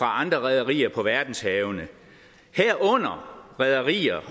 andre rederier på verdenshavene herunder rederier